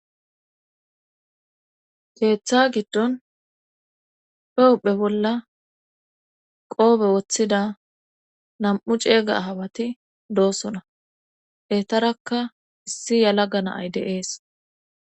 keeththa giddon pewuphe bolla qoobe woththida nam'u ceega ahawati doosona etarakka issi yalaga naay deees.